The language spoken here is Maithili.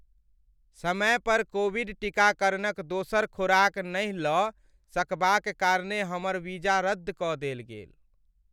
समय पर कोविड टीकाकरणक दोसर खोराक नहि लऽ सकबाक कारणे हमर वीजा रद्द कऽ देल गेल।